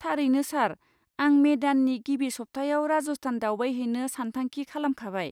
थारैनो, सार। आं मे दाननि गिबि सप्तायाव राजस्थान दावबायहैनो सानथांखि खालामखाबाय।